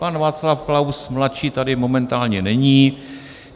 Pan Václav Klaus mladší tady momentálně není.